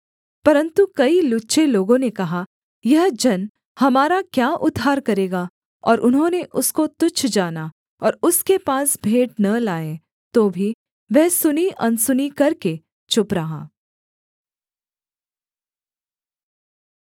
परन्तु कई लुच्चे लोगों ने कहा यह जन हमारा क्या उद्धार करेगा और उन्होंने उसको तुच्छ जाना और उसके पास भेंट न लाए तो भी वह सुनी अनसुनी करके चुप रहा